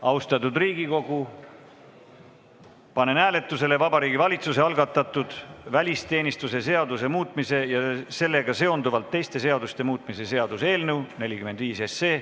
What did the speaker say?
Austatud Riigikogu, panen hääletusele Vabariigi Valitsuse algatatud välisteenistuse seaduse muutmise ja sellega seonduvalt teiste seaduste muutmise seaduse eelnõu 45.